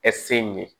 ye